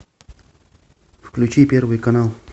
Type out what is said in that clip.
включи первый канал